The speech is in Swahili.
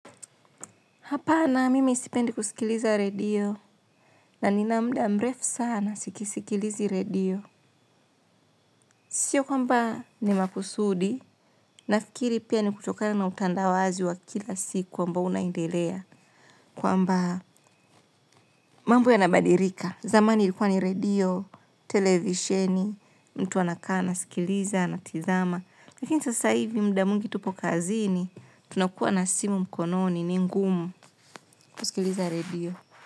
Hapana mimi sipendi kusikiliza redio na nina muda mrefu sana sikisikilizi radio. Sio kwamba ni makusudi nafikiri pia ni kutokana na utandawazi wa kila siku ambao unaendelea. Kwamba mambo yanabadilika. Zamani ilikuwa ni redio, televisheni, mtu anakaa anasikiliza anatizama. Lakini sasa hivi muda mwingi tupo kazini tunakuwa na simu mkononi ni ngumu kusikiliza redio.